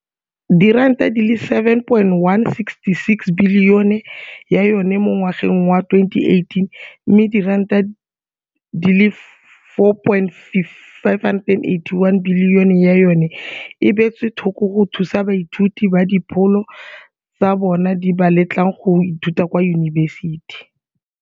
R7.166 bilione ya yona mo ngwageng wa 2018 mme R4.581 bilione ya yona e beetswe thoko go thusa baithuti ba dipholo tsa bona di ba letlang go ithuta kwa diyunibesithing,